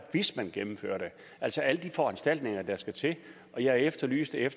hvis man gennemfører det altså alle de foranstaltninger der skal til og jeg efterlyste at